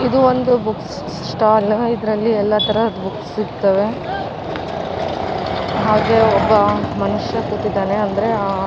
ಇದು ಒಂದು book stall ಇದ್ರಲ್ಲಿ ಎಲ್ಲ ತರ ಬುಕ್ಸ್ ಸಿಗ್ತವೆ ಹಾಗೆ ಒಬ್ಬ ಮನುಷ್ಯ ಕೂತಿದ್ದಾನೆ ಅಂದ್ರೆ ಅ --